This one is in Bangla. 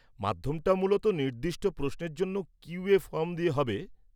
মাধ্যমটা মূলত নির্দিষ্ট প্রশ্নের জন্য কিউ.এ ফর্ম দিয়ে হবে।